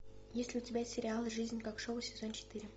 есть ли у тебя сериал жизнь как шоу сезон четыре